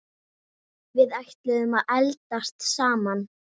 Við ætluðum að eldast saman.